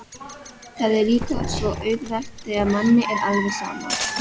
Það er líka svo auðvelt þegar manni er alveg sama.